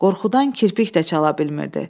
Qorxudan kirpik də çala bilmirdi.